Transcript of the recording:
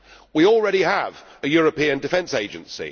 We already have a European Defence Agency